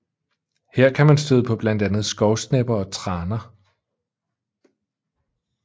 Her kan man støde på blandt andet skovsnepper og traner